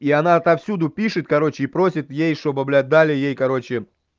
и она отовсюду пишет короче и просит ей что бы бля дали ей короче